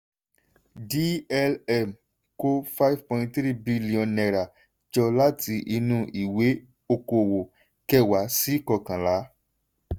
dlm kó n5.3 bílíọ̀nù jọ láti inú ìwé ọkọ̀ọ́wò kẹwàá sí kókànlá.